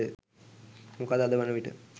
මොකද අද වනවිට